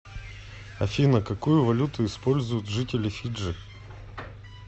афина какую валюту используют жители фиджи